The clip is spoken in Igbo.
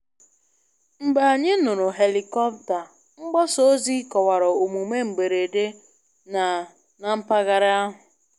Mgbe anyị nụrụ helikọpta, mgbasa ozi kọwara omume mberede na na mpaghara ahụ.